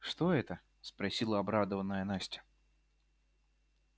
что это спросила обрадованная настя